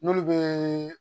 N'olu bɛ